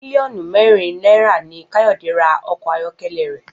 Mílíò̩nù mé̩rin náírà ni Káyò̩dé ra o̩kò̩ ayó̩ké̩lé̩ rè̩